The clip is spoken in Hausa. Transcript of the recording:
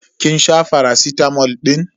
Kin sha faracitamol din?